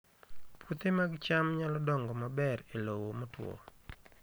Puothe mag cham nyalo dongo maber e lowo motwo